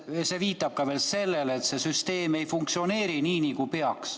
See viitab sellele, et süsteem ei funktsioneeri nii, nagu peaks.